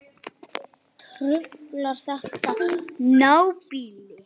Truflar þetta nábýli?